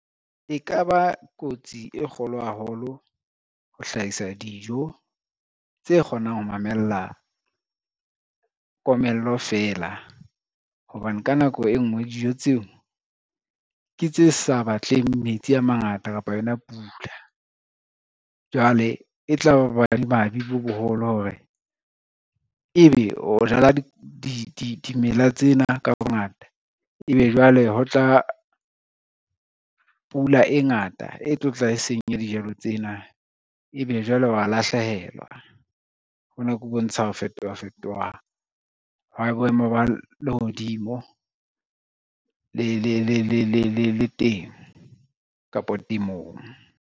E ka ba kotsi e kgolo haholo, ho hlahisa dijo tse kgonang ho mamella komello fela, hobane ka nako e ngwe dijo tseo ke tse sa batleng metsi a mangata kapa yona pula. Jwale e tla ba bo madimabe bo boholo hore ebe o jala dimela tsena ka bongata, ebe jwale ho tla pula e ngata e tlo tla e senya dijalo tsena ebe jwale wa lahlehelwa. Hona ke ho bontsha ho fetofetoha ha boemo ba lehodimo le temo kapa temong.